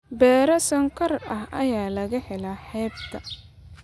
Beero sonkor ah ayaa laga helaa xeebta.